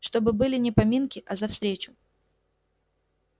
чтобы были не поминки а за встречу